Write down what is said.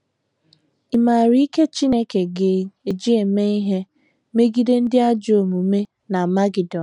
Ị̀ maara ike Chineke ga - eji eme ihe megide ndị ajọ omume n’Amagedọn?